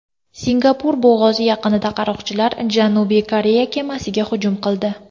Singapur bo‘g‘ozi yaqinida qaroqchilar Janubiy Koreya kemasiga hujum qildi.